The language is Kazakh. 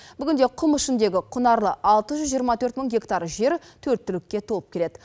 бүгінде құм ішіндегі құнарлы алты жүз жиырма төрт мың гектар жер төрт түлікке толып келеді